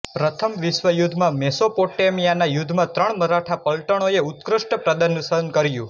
પ્રથમ વિશ્વયુદ્ધમાં મેસોપોટેમિયાના યુદ્ધમાં ત્રણ મરાઠા પલટણોએ ઉત્કૃષ્ટ પ્રદર્શન કર્યું